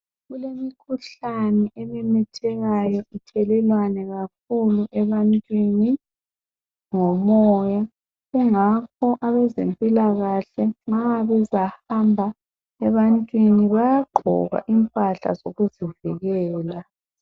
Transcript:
Kulemikhuhlane ememethekayo ithelelwane kakhulu ebantwini ngomoya. Kungakho abezempilakahle nxa bezahamba ebantwini, bayagqoka impahla zokuzivikela.